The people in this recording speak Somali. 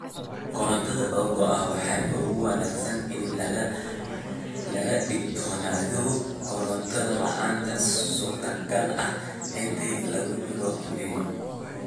Korontada oo go'a Waxaa ugu wanaagsan in laga digtoonaado koronto la'aan suurtagal ah inta lagu jiro El Niño.